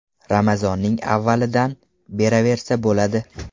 Ramazonning avvalidan beraversa bo‘ladi .